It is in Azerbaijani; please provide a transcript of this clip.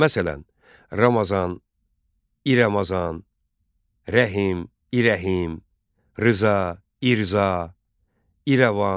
Məsələn: Ramazan, İ Ramazan, Rəhim, İrəhim, Rza, İrza, İrəvan.